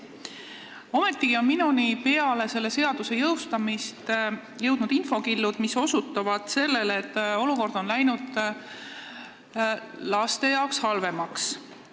Ometigi on minuni peale selle seaduse jõustumist jõudnud infokillud, mis osutavad, et olukord on läinud laste jaoks halvemaks.